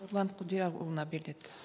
нұрлан құдиярұлына беріледі